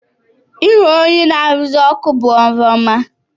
Ị ghọ onye na-arụzi ọkụ bụ ọrụ ọma.